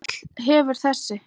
Öll hefur þessi